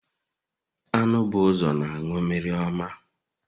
Anụ bụ ụzọ na anụ mmiri ọma.